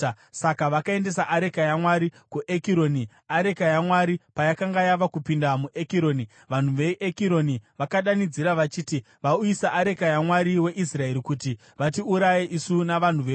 Saka vakaendesa areka yaMwari kuEkironi. Areka yaMwari payakanga yava kupinda muEkironi, vanhu veEkironi vakadanidzira, vachiti, “Vauyisa areka yaMwari weIsraeri kuti vatiuraye isu navanhu vedu.”